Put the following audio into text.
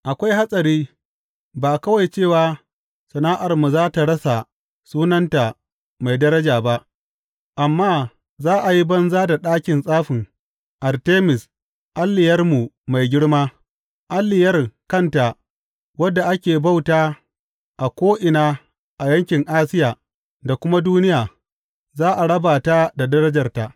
Akwai hatsari, ba kawai cewa sana’armu za tă rasa sunanta mai daraja ba, amma za a yi banza da ɗakin tsafin Artemis alliyarmu mai girma, alliyar kanta wadda ake bauta a ko’ina a yankin Asiya da kuma duniya, za a raba ta da darajarta.